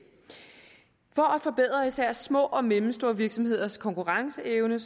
forbedre især små og mellemstore virksomheders konkurrenceevne